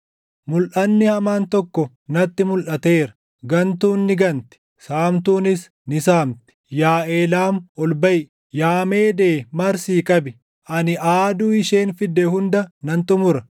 Mulʼanni hamaan tokko natti mulʼateera: gantuun ni ganti; saamtuunis ni saamti. Yaa Eelaam, ol baʼi! Yaa Meedee marsii qabi! Ani aaduu isheen fidde hunda nan xumura.